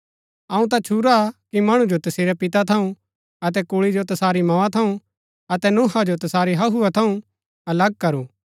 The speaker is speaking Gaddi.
अऊँ ता छुरा कि मणु जो तसेरै पिता थऊँ अतै कुल्ळी जो तसारी मोआ थऊँ अतै नूहा जो तसारी हहूआ थऊँ अलग करू